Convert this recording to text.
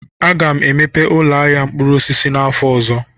Aga m emepe ụlọ ahịa mkpụrụ osisi n'afọ ọzọ.